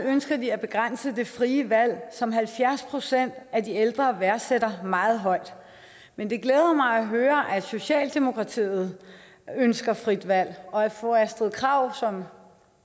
ønsker de at begrænse det frie valg som halvfjerds procent af de ældre værdsætter meget højt men det glæder mig at høre at socialdemokratiet ønsker frit valg og at fru astrid krag som